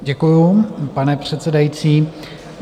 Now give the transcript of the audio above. Děkuji, pane předsedající.